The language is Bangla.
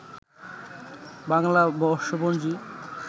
বাংলা বর্ষপঞ্জি